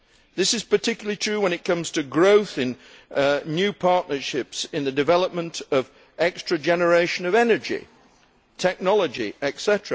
This is particularly true when it comes to fostering new partnerships in the development of new generation energy, technology, etc.